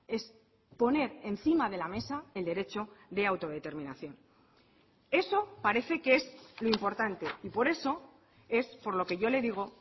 es poner encima de la mesa el derecho de autodeterminación eso parece que es lo importante y por eso es por lo que yo le digo